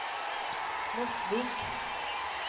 Mosvik